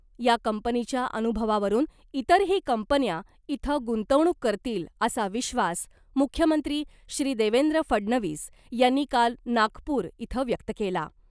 या कंपनीच्या अनुभवावरून इतरही कंपन्या इथं गुंतवणूक करतील , असा विश्वास मुख्यमंत्री श्री देवेंद्र फडणवीस यांनी काल नागपूर इथं व्यक्त केला .